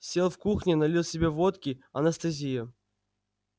сел в кухне налил себе водки анестезия